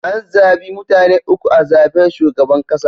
An zabi mutane uku a zaben shugaban kasa.